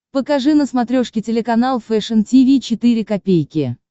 покажи на смотрешке телеканал фэшн ти ви четыре ка